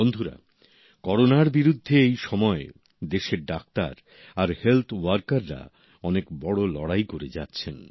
বন্ধুরা করোনার বিরুদ্ধে এই সময় দেশের ডাক্তার আর হেলথ ওয়ার্কাররা অনেক বড় লড়াই করে যাচ্ছেন